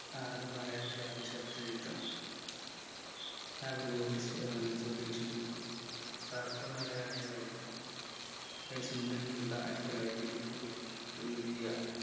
ആണ് മലയാളത്തിലെ ആദ്യ ശബ്ദ ചിത്രം നാഗർകോവിൽ ഏർ സുധീഷ് ആതാ മലയാളിയുമായിരുന്നു കെ സുന്ദരൻ പിള്ള ആയിരത്തിത്തൊള്ളായിരത്തിഇരുപത്തിഒമ്പതിൽ എഴുതിയ